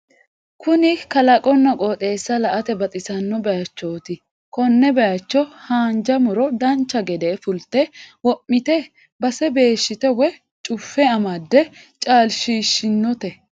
Kuni kalaqonna qoxeessi la"ate baxisanno bayiichooti konne bayiicho haanja muro dancha gede fulte wo'mite base beeshshite woye cuffe amadde caalshiishinote.